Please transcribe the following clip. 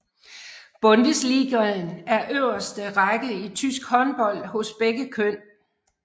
Bundesligaen er øverste række i tysk håndbold hos begge køn